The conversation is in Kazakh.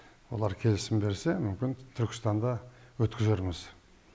олар келісім берсе мүмкін түркістанда өткізерміз